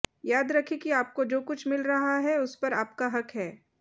याद रखें कि आपको जो कुछ मिल रहा है उस पर आपका हक है